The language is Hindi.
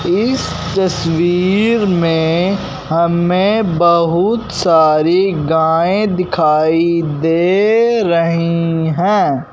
इस तस्वीर में हमें बहुत सारी गाएं दिखाई दे रही हैं।